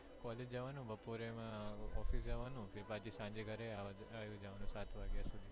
college જવાનું બપોરે માં office જવાનું પછી સાંજે ઘરે આવી જવાનું